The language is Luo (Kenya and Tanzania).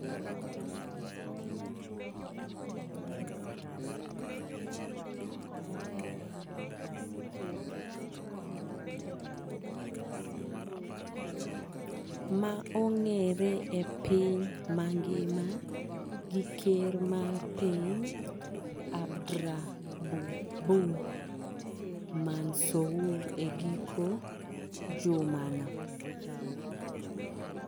ma ong’ere e piny mangima gi Ker mar Piny Abdrabbu Mansour e giko jumano.